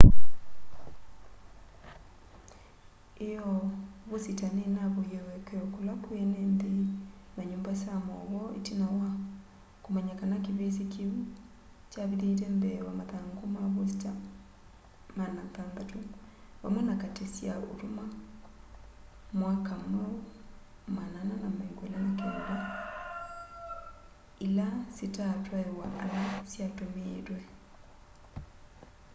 ĩoo vosita nĩnavoie ũekeo kũla kwĩ enenthĩ na nyumba sya maũvoo ĩtina wa kũmanya kana kĩvĩsĩ kĩu kyavithĩte mbee wa mathangũ ma vosita 600 vamwe na kati sya ũtũma mwaka mweũ 429 ila sitatwaĩwa ala syatũmĩĩtwe